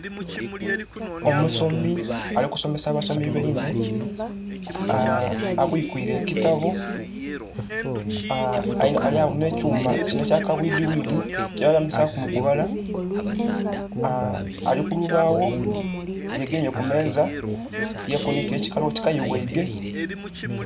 Omusomi ali kusomesa basomi bainhe abwikwire ekitabo, alyagho nhe kyuma kinho ekya kabwidhi bwidhi kyebeyambisaku mukubala aa alikulubagho yegemye kumeza yekunhika ekikalu oti kayi ghaige.